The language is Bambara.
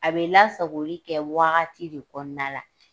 A bɛ lasagoli kɛ wagati de kɔnɔna la